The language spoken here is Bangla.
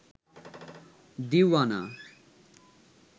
দিওয়ানা